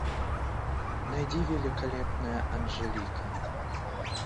найди великолепная анжелика